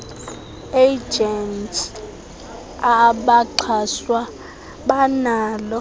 agents abaxhaswa banalo